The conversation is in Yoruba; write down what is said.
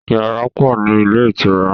Yàrá pọ̀ ni ilé ìtura.